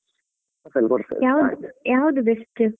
ಯಾವ್ದು ಯಾವ್ದು best?